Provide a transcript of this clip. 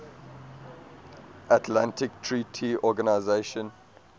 atlantic treaty organisation